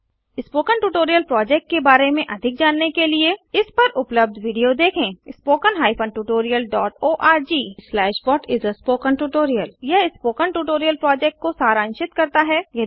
spoken tutorial project के बारे में अधिक जानने के लिए इस पर उपलब्ध वीडियो देखें httpspoken tutorialorgWhat is a Spoken Tutorial यह स्पोकन ट्यूटोरियल प्रोजेक्ट को सारांशित करता है